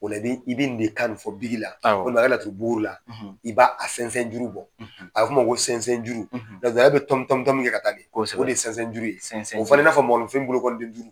Ola i bɛ tan fɔ biki la, awɔ, walima a ka laturu bukuri la, Ɲ ola i b'a sɛnsɛn juru bɔ, a bɛ f'o ma ko sɛnsɛn juru, k'a sɛnsɛn juru bɔ, paseke ale bɛ tɔni tɔni de ka taa fɛ, kosɛbɛ, la de ye sɛnsɛn juru ye , a bɛ falen i n'a fɔ ko mɔgɔlefin bolokniden duuru.